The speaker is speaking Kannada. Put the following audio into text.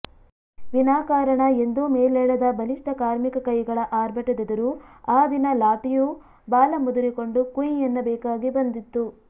ವಿನಾಕಾರಣ ಎಂದೂ ಮೇಲೇಳದ ಬಲಿಷ್ಠ ಕಾರ್ಮಿಕ ಕೈಗಳ ಆರ್ಭಟದೆದುರು ಆ ದಿನ ಲಾಠಿಯೂ ಬಾಲ ಮುದುರಿಕೊಂಡು ಕುಂಯ್ ಎನ್ನಬೇಕಾಗಿ ಬಂದಿತ್ತು